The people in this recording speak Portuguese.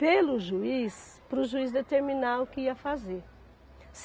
pelo juiz, para o juiz determinar o que ia fazer.